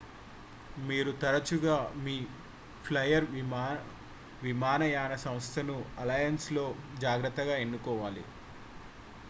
మీరు తరచుగా మీ ఫ్లైయర్ విమానయాన సంస్థను అలయన్స్లో జాగ్రత్తగా ఎన్నుకోవాలి